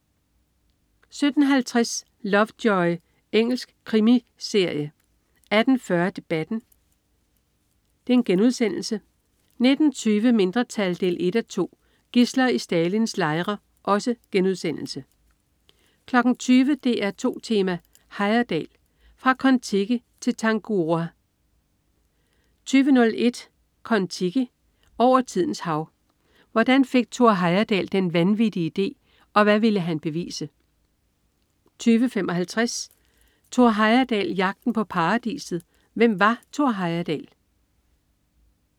17.50 Lovejoy. Engelsk krimiserie 18.40 Debatten* 19.20 Mindretal 1:2. Gidsler i Stalins lejre* 20.00 DR2 Tema: Heyerdahl. Fra Kon Tiki til Tangaroa 20.01 Kon Tiki. Over tidens hav. Hvordan fik Thor Heyerdahl den vanvittige idé, og hvad ville han bevise? 20.55 Thor Heyerdahl. Jagten på paradiset. Hvem var Thor Heyerdahl?